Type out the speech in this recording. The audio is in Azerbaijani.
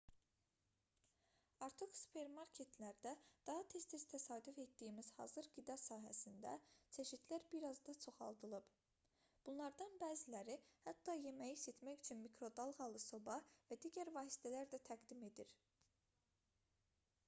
artıq supermarketlərdə daha tez-tez təsadüf etdiyimiz hazır qida sahəsində çeşidlər bir az da çoxaldılıb bunlardan bəziləri hətta yeməyi isitmək üçün mikro dalğalı soba və digər vasitələr də təqdim edir